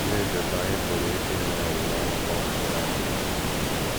Oleezi otú anyị pụrụ isi nwee olileanya mgbe ọnwụ chere anyị ihu?